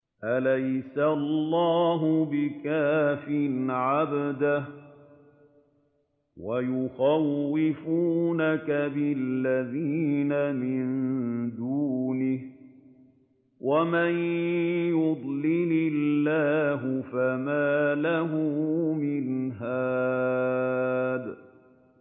أَلَيْسَ اللَّهُ بِكَافٍ عَبْدَهُ ۖ وَيُخَوِّفُونَكَ بِالَّذِينَ مِن دُونِهِ ۚ وَمَن يُضْلِلِ اللَّهُ فَمَا لَهُ مِنْ هَادٍ